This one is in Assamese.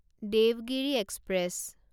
দেৱগিৰি এক্সপ্ৰেছ